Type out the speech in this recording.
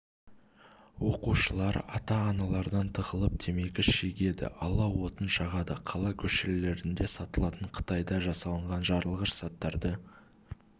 оқушылар ата-аналардан тығылып темекі шегеді алау отын жағады қала көшелерінде сатылатын қытайда жасалынған жарылғыш заттарды